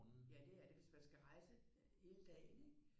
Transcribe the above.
Ja det er det hvis man skal rejse hele dagen ikke